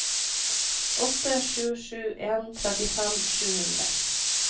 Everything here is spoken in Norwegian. åtte sju sju en trettifem sju hundre